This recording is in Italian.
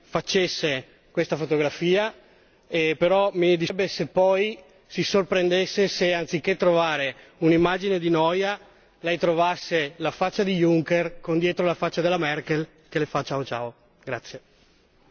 Io vorrei che lei facesse questa fotografia però mi dispiacerebbe se poi si sorprendesse se, anziché trovare un'immagine di noia, lei trovasse la faccia di Junker con dietro la faccia della Merkel che le fa ciao ciao.